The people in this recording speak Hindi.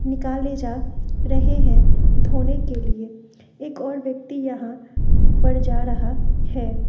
निकले जा रहे हैं धोने के लिए एक और व्यक्ति यहां ऊपर जा रहा है।